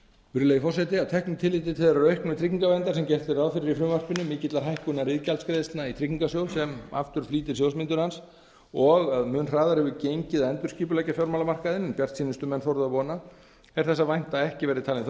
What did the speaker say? virðulegi forseti að teknu tilliti til þeirrar auknu tryggingaverndar sem gert er ráð fyrir í frumvarpinu mikillar hækkunar iðgjaldsgreiðslna í tryggingarsjóð sem aftur flýtir sjóðsmyndun hans og að mun hraðar hefur gengið að endurskipuleggja fjármálamarkaðinn en bjartsýnustu menn þorðu að vona er þess að vænta að ekki verði talin þörf